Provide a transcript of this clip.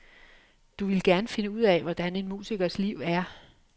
Du ville gerne finde ud af, hvordan en musikers liv er.